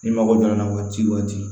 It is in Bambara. Ni mago jɔra n na waati o waati